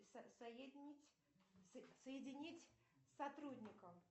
соединить с сотрудником